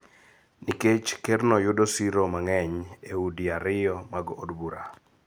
nikech Kerno yudo siro mang�eny e udi ariyo mag od bura.